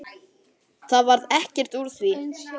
Það varð ekkert úr því.